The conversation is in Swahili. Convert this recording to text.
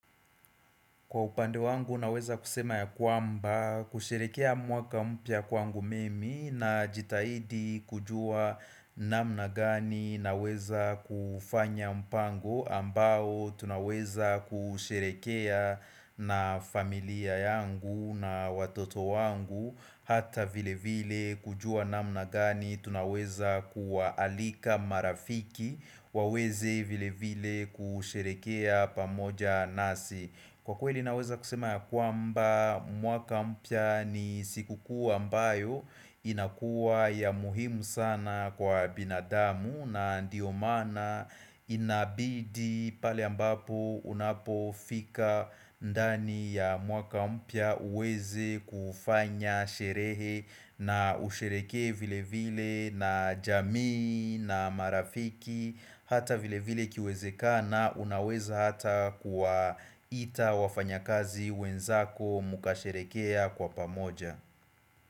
Kwa upande wangu naweza kusema ya kwamba kusherekea mwaka mpya kwangu mimi najitahidi kujua namna gani naweza kufanya mpango ambao tunaweza kusherehekea na familia yangu na watoto wangu Hata vile vile kujua namna gani tunaweza kuwaalika marafiki waweze vile vile kusherehekea pamoja nasi Kwa kweli naweza kusema ya kwamba mwaka mpya ni siku kuu ambayo inakuwa ya muhimu sana kwa binadamu na ndio maana inabidi pale ambapo unapofika ndani ya mwaka mpya uweze kufanya sherehe na usherehekee vile vile na jamii na marafiki Hata vile vile ikiwezekana unaweza hata kuwaita wafanya kazi wenzako mukasherehekea kwa pamoja.